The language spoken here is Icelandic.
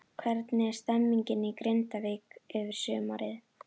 Hvernig er stemmingin í Grindavík fyrir sumarið?